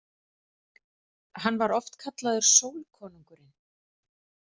Hann var oft kallaður sólkonungurinn.